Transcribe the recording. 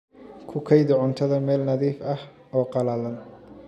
Ku kaydi cuntada meel nadiif ah oo qallalan.